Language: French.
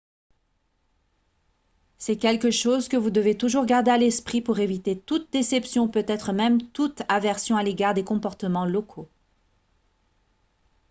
c'est quelque chose que vous devez toujours garder à l'esprit pour éviter toute déception ou peut-être même toute aversion à l'égard des comportements locaux